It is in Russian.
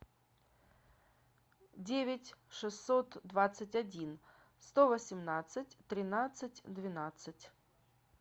девять шестьсот двадцать один сто восемнадцать тринадцать двенадцать